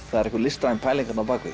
það er einhver listræn pæling þarna á